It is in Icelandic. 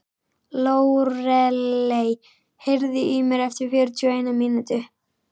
Lóreley, heyrðu í mér eftir fjörutíu og eina mínútur.